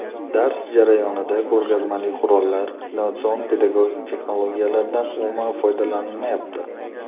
Dars jarayonida ko‘rgazmali qurollar, innovatsion pedagogik texnologiyalardan umuman foydalanilmayapti”.